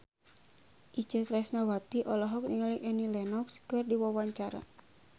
Itje Tresnawati olohok ningali Annie Lenox keur diwawancara